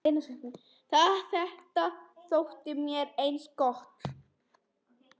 Þetta þótti mér ansi gott.